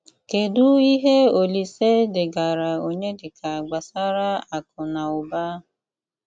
Kédụ íhé Òlíse dégarà Ọnyédíkà gbasárà àkụ nà ụ́bà?